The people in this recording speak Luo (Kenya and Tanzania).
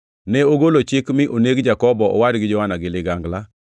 Ne ogolo chik mi oneg Jakobo owad gi Johana gi ligangla.